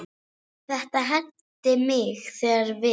Þetta henti mig þegar við